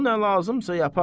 O nə lazımsa yapar.